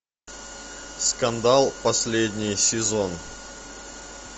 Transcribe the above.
скандал последний сезон